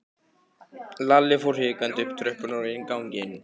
Lalli fór hikandi upp tröppurnar og inn í ganginn.